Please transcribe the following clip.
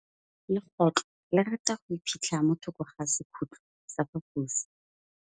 Legôtlô le rata go iphitlha mo thokô ga sekhutlo sa phaposi.